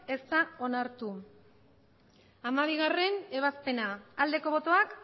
ez da onartu hamabigarrena ebazpena aldeko botoak